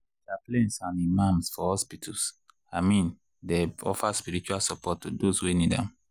chaplains and imams for hospitals i mean dey offer spiritual support to those wey need am.